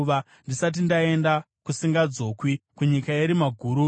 ndisati ndaenda kusingadzokwi, kunyika yerima nomumvuri wakadzama,